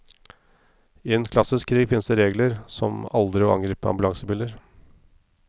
I en klassisk krig finnes det regler, som aldri å angripe ambulansebiler.